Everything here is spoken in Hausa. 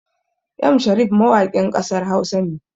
M Sharif mawakin ƙasar Hausa ne